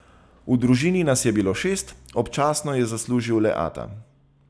V družini nas je bilo šest, občasno je zaslužil le ata.